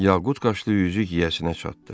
Yaqud qaşlı üzük yiyəsinə çatdı.